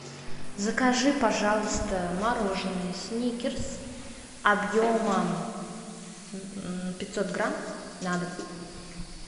закажи пожалуйста мороженое сникерс объемом пятьсот грамм на дом